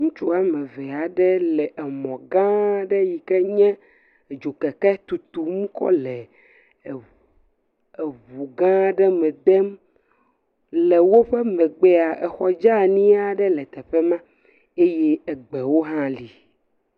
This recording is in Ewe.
Ŋutsuwo ame eve aɖe le mɔ gã aɖe yike nye dzokeke tutum kɔ le ʋu gã aɖe me dem le woƒe megbea xɔ dzeani aɖe le teƒe ma eye gbewo ha li